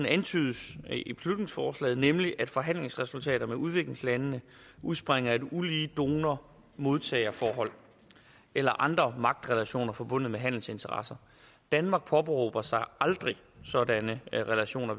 antydes i beslutningsforslaget nemlig at forhandlingsresultater med udviklingslandene udspringer af et ulige donor modtager forhold eller andre magtrelationer forbundet med handelsinteresser danmark påberåber sig aldrig sådanne relationer